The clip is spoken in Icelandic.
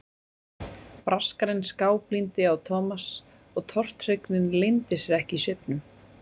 Braskarinn skáblíndi á Thomas og tortryggnin leyndi sér ekki í svipnum.